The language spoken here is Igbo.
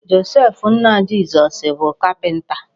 Joseph nna Jizọs bụ kapịnta.